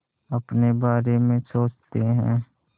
अपने बारे में सोचते हैं